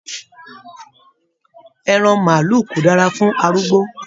Ẹran maálù ko dára fún arúgbó.